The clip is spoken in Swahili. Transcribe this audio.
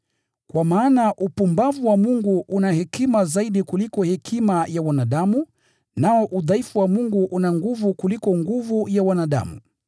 Kwa maana upumbavu wa Mungu una hekima zaidi kuliko hekima ya wanadamu, nao udhaifu wa Mungu una nguvu kuliko nguvu ya wanadamu.